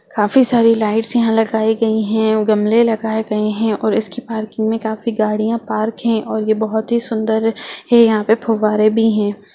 काफी सारी लाइट्स यहाँ लगाई गयी है गमले लगाए गए है और इसकी पार्किंग में काफी गाड़िया पार्क है और ये बहुत ही सुंदर है यहाँ पे फुवारे भी है।